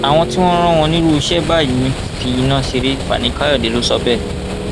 àwọn tí wọn rán wọn nírú iṣẹ báyìí ń fi iná ṣeré fani káyọdé lọ sọ bẹẹ